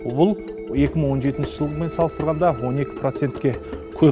бұл екі мың он жетінші жылмен салыстырғанда он екі процентке көп